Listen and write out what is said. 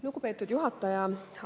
Lugupeetud juhataja!